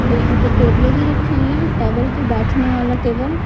मैं यहाँ पे टेबलें भी रखी हुई हैं टैबल पे बैठने वाला टेबल --